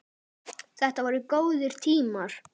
Þetta voru góðir tímar.